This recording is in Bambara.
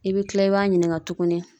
I bɛ kila i b'a ɲininka tuguni.